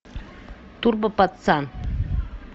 турбо пацан